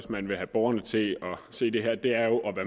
borgerne til det